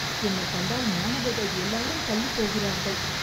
என்னைக் கண்டால் மாணவர்கள் எல்லாரும் தள்ளிப் போகிறார்கள்